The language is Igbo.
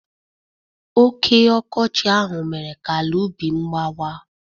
Oké ọkọchị ahụ mere ka ala ubi m gbawa.